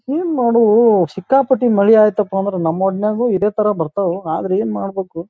ಹಿಂಗ್ ಮಾಡೂ ಸಿಕ್ಕಾಪಟ್ಟಿ ಮಳಿ ಐತಪ್ಪ ಅಂದ್ರ ನಮ್ಮೂರ್ನಾಗೂ ಇದೆ ತರ ಬರ್ತಾವು ಆದ್ರೆ ಏನ್ ಮಾಡಬೇಕು.